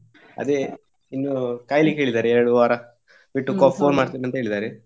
ಅದೇ ಇನ್ನು ಕಾಯ್ಲಿಕ್ಕೆ ಹೇಳಿದ್ದಾರೆ ಎರಡು ವಾರ ಬಿಟ್ಟು c~ phone ಮಾಡ್ತೇನೆ ಅಂತ ಹೇಳಿದ್ದಾರೆ.